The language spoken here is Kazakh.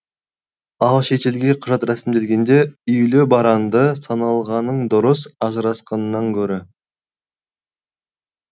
ал шетелге құжат рәсімдегенде үйлі баранды саналғаның дұрыс ажырасқаннан көрі